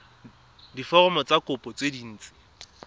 diforomo tsa kopo tse dint